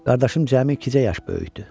Qardaşım cəmi ikicə yaş böyükdü.